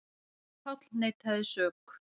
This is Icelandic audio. Páll neitaði sök.